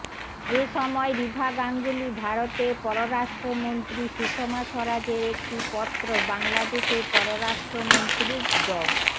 এ সময় রিভা গাঙ্গুলী ভারতের পররাষ্ট্রমন্ত্রী সুষমা স্বরাজের একটি পত্র বাংলাদেশের পররাষ্ট্রমন্ত্রীর ড